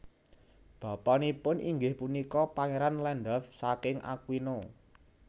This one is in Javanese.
Bapanipun inggih punika Pangeran Landulf saking Aquino